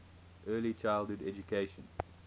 early childhood education